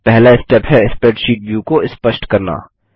पहला स्टेप है spreadsheet view को स्पष्ट करना